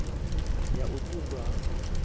ya u ṱun ḓwa ha